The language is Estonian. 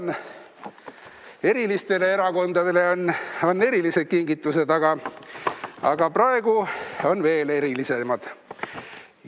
Nii, erilistele erakondadele on erilised kingitused, aga praegu on veel erilisemad.